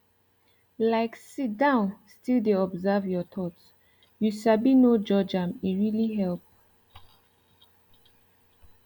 like sit down still dey observe your thoughts you sabi no judge am e really help